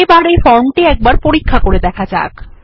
এখন এই ফর্মটি একবার পরীক্ষা করে দেখা যাক